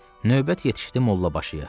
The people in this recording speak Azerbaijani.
Növbət yetişdi mollabaşıya.